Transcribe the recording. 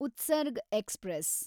Utsarg express